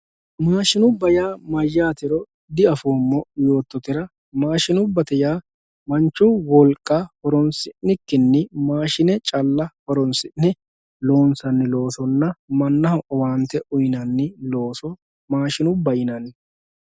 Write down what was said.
Mashinuba yaa mayatero diafoomo yooyetera mashinubba manchu wolqa horonsinikini mashine calla horonsine lonsani loosona mashinubba yinani